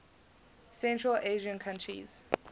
central asian countries